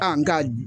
A nga